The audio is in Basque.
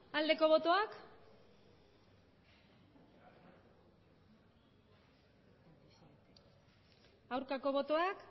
aldeko botoak aurkako botoak